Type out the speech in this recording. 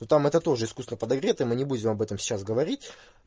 ну там это тоже искусственно подогрето мы не будем об этом сейчас говорить